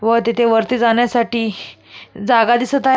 व तिथे वरती जाण्यासाठी जागा दिसत आहे.